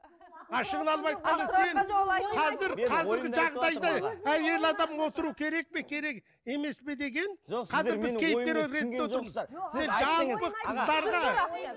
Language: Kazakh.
ашығын алып айтқанда сен қазір қазіргі жағдайда әйел адам отыру керек пе керек емес пе деген жалпы қыздарға